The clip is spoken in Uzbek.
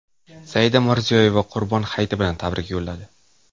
Saida Mirziyoyeva Qurbon hayiti bilan tabrik yo‘lladi.